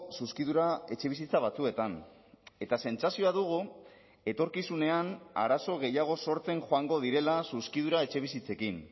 zuzkidura etxebizitza batzuetan eta sentsazioa dugu etorkizunean arazo gehiago sortzen joango direla zuzkidura etxebizitzekin